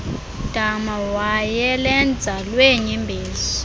dama wayelenza lweenyembezi